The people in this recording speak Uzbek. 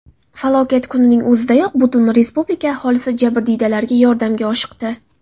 Falokat kunining o‘zidayoq butun respublika aholisi jabrdiydalarga yordamga oshiqdi.